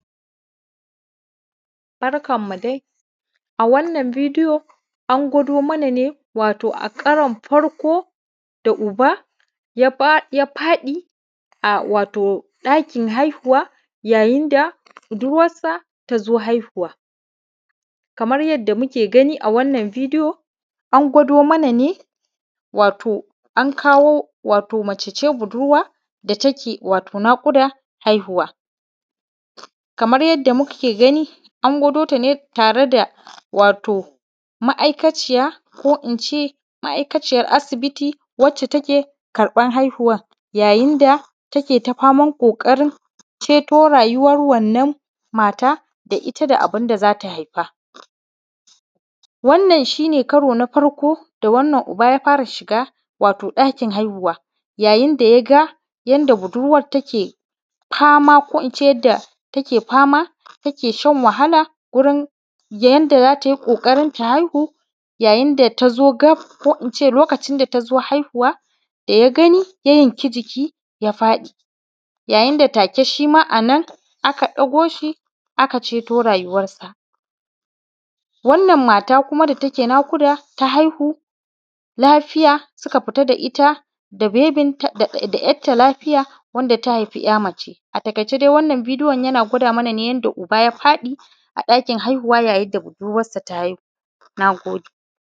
Barkanmu dai, a wannan bidiyo an gwado mana ne wato a karan farko da uba ya faɗi a ɗakin haihuwa, yayin da budurwansa ta zo haihuwa. Kamar yadda muke gani a wannan bidiyo, an gwado mana nean kawo mace ce budurwa da take naƙudan haihuwa. Kamar yadda muke gani, an gwado ta ne tare da wato ma’aikaciya in ce ma’aikaciyan asibiti, ita take karɓan haihuwan. Yadda take ta faman ƙoƙarin ceto rayuwan wannan mata, da ita da abin da za ta haifa. Wannan shi ne karo na farko da wannan uba ya fara shiga wato ɗakin haihuwa, yayin da ya ga yadda budurwansa take fama, ko in ce take shan wahala, gurin yadda za ta yi ƙoƙarin ta haihu. Yayin da za to gaf, ko in ce lokacin da ta zo haihuwa, da ya gani, ya yanki jiki, ya faɗi. Yayin da take shi ma a nan aka ɗago sa, aka ceto rayuwansa. Wannan mata ita da take naƙuda, ta haihu lafiya, suka fita da ita da yar ta lafiya, da ta haifa yar mace. A taƙaicen taƙaitawa, wannan bidiyo yana gwado mana ne yadda uba ya faɗi a ɗakin haihuwa yayin da budurwansa ta haihu. Na gode.